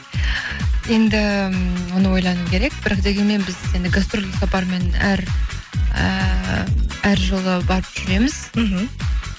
енді оны ойлану керек бірақ дегенмен біз енді гастрольдік сапармен әр ыыы әр жылы барып жүреміз мхм